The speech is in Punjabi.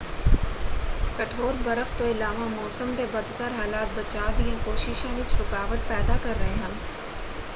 ਕਠੋਰ ਬਰਫ਼ ਤੋਂ ਇਲਾਵਾ ਮੌਸਮ ਦੇ ਬਦਤਰ ਹਾਲਾਤ ਬਚਾਅ ਦੀਆਂ ਕੋਸ਼ਿਸ਼ਾਂ ਵਿੱਚ ਰੁਕਾਵਟ ਪੈਦਾ ਕਰ ਰਹੇ ਹਨ।